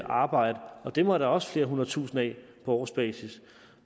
arbejde dem er der også flere hundredtusinde af på årsbasis